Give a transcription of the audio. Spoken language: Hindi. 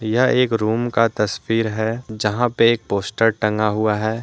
यह एक रूम का तस्वीर है जहां पे एक पोस्टर टंगा हुआ है।